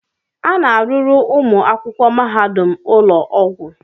A na-arụrụ ụmụ akwụkwọ mahadum ụlọ ọgwụ.